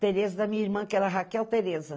Tereza da minha irmã, que era Raquel Tereza.